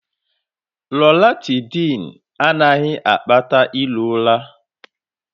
Loratydn anaghị akpata iro ụra